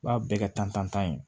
U b'a bɛɛ kɛ tan ye